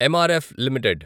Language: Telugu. MRF limited